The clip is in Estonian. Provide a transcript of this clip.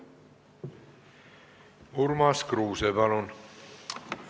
Urmas Kruuse, palun!